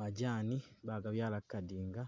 Majani bagabyala kukadinga